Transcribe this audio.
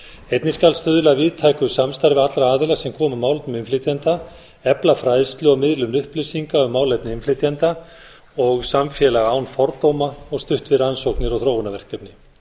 einnig skal stuðla að víðtæku samstarfi allra aðila sem koma að málum innflytjenda efla fræðslu og miðlun upplýsinga um málefni innflytjenda og samfélag án fordóma og stutt við rannsóknir og þróunarverkefni